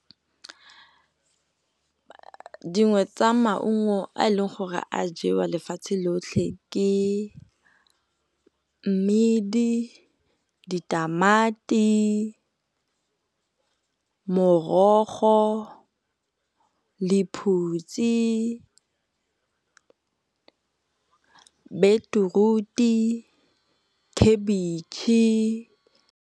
Dingwe tsa maungo a e leng gore a jewa lefatshe lotlhe ke mmidi, ditamati, morogo, lephutsi, bitiruti le khabitšhe.